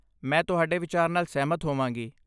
ਮੈਂ ਤੁਹਾਡੇ ਵਿਚਾਰ ਨਾਲ ਸਹਿਮਤ ਹੋਵਾਂਗੀ ।